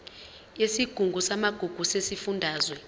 yesigungu samagugu sesifundazwe